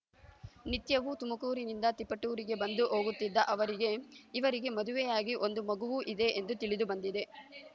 ನಿತ್ಯವೂ ತುಮಕೂರಿನಿಂದ ತಿಪಟೂರಿಗೆ ಬಂದು ಹೋಗುತ್ತಿದ್ದ ಅವರಿಗೆ ಇವರಿಗೆ ಮದುವೆಯಾಗಿ ಒಂದು ಮಗುವೂ ಇದೆ ಎಂದು ತಿಳಿದು ಬಂದಿದೆ